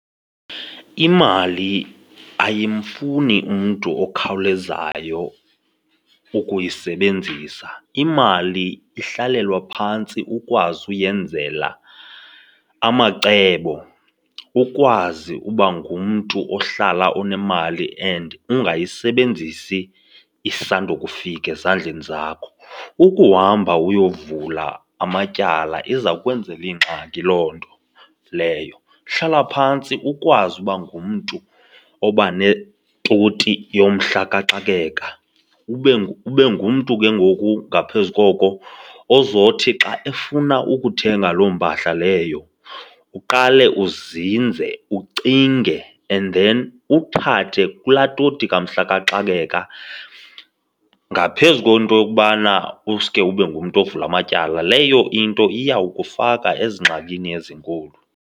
Imali ayimfuni umntu okhawulezayo ukuyisebenzisa. Imali ihlalelwa phantsi ukwazi uyenzela amacebo, ukwazi uba ngumntu ohlala unemali and ungayisebenzisi isanda ukufika ezandleni zakho. Ukuhamba uyovula amatyala iza kwenzela ingxaki loo nto leyo, hlala phantsi ukwazi uba ngumntu oba netoti yomhla kaxakeka, ube ube ngumntu ke ngoku ngaphezu koko ozothi xa efuna ukuthenga loo mpahla leyo, uqale uzinze ucinge and then uthathe kulaa toti kumhla kaxakeka. Ngaphezu kwento yokubana uske ube ngumntu uvule amatyala, leyo into iyawukufaka ezingxakini ezinkulu.